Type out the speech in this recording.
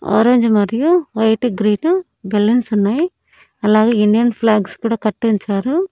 Orange మరియు white green balloons ఉన్నాయ్ అలాగే ఇండియన్ ఫ్లాగ్స్ కూడా కట్టించారు.